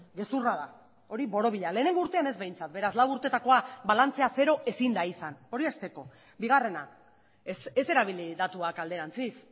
gezurra da hori borobila lehenengo urtean ez behintzat beraz lau urtetakoa balantzea zero ezin da izan hori hasteko bigarrena ez erabili datuak alderantziz